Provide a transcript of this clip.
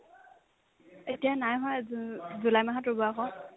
এতিয়া নাই হোৱা জুন জুলাই মাহত ৰুব আকৌ